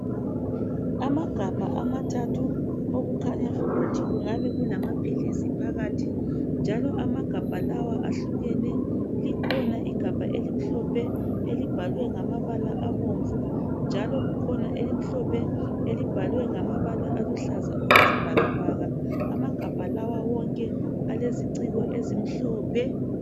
Amagabha amathathu okukhanya ukuthi kungabe kulamaphilisi phakathi njalo amagabha lawa ahlukene likhona igabha elimhlophe elibhalwe ngamabala abomvu njalo kukhona elimhlophe elibhaliwe ngamabala aluhlaza okwesibhakabhaka amagabha lawa wonke aleziciko ezimhlophe.